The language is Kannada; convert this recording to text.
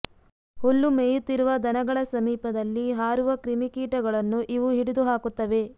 ಹುಲ್ಲು ಮೇಯುತ್ತಿರುವ ದನಗಳ ಸಮೀಪದಲ್ಲಿ ಹಾರುವ ಕ್ರಿಮಿಕೀಟಗಳನ್ನು ಇವು ಹಿಡಿದು ಹಾಕುತ್ತವೆ